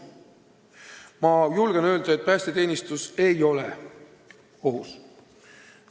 " Ma julgen öelda, et päästeteenistus ei ole ohus.